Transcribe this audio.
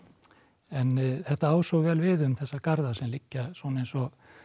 en þetta á svo vel við um þessa garða sem liggja svona eins og